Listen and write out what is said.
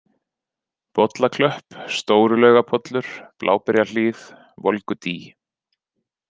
Bollaklöpp, Stórulaugapollur, Bláberjahlíð, Volgudý